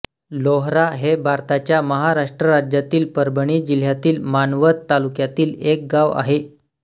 लोहरा हे भारताच्या महाराष्ट्र राज्यातील परभणी जिल्ह्यातील मानवत तालुक्यातील एक गाव आहे